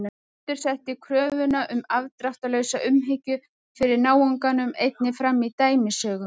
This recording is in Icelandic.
Kristur setti kröfuna um afdráttarlausa umhyggju fyrir náunganum einnig fram í dæmisögum.